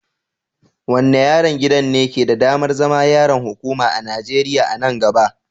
Wanne yaren gidan ne ke da damar zama yaren hukuma a Nijeriya a nan gaba?